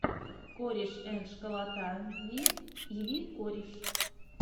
корешэндшколотави и ви кореш